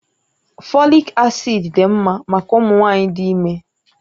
Fòlị́k acị́d dị mma maka ụmụ nwanyị dị ime